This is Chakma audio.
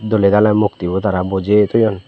doley daley mokti bo tara bojey toyon.